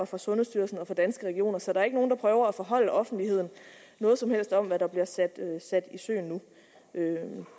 fra sundhedsstyrelsen og fra danske regioner så der er ikke nogen der prøver at forholde offentligheden noget som helst om hvad der bliver sat i søen nu mødet